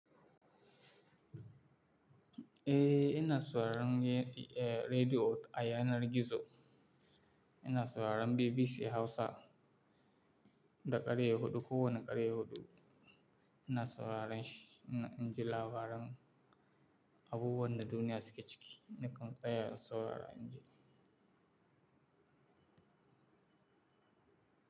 Eh, ina sauraren rediyo ayanar gizo, ina sauraren BBC Hausa, daga ƙarfe huɗu ko wannan ƙarfe huɗu ina sauraren shi. Ina dan jin labaran abubuwan da duniya suke ciki, na kam tsaya in saurara inji.